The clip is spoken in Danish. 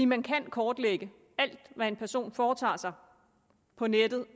man kan kortlægge alt hvad en person foretager sig på nettet